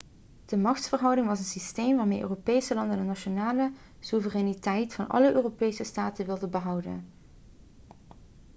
de machtsverhouding was een systeem waarmee europese landen de nationale soevereiniteit van alle europese staten wilden behouden